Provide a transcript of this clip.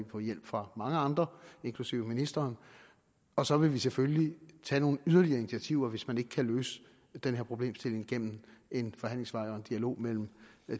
få hjælp fra mange andre inklusive ministeren og så vil vi selvfølgelig tage nogle yderligere initiativer hvis man ikke kan løse den her problemstilling igennem en forhandlingsvej og en dialog mellem